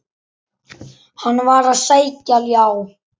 Hann var að sækja ljá.